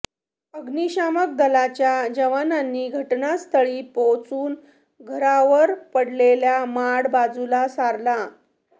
अग्निशमन दलाच्या जवानांनी घटनास्थळी पोचून घरावर पडलेला माड बाजूला सारला